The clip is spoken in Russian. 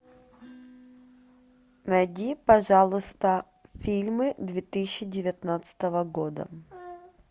найди пожалуйста фильмы две тысячи девятнадцатого года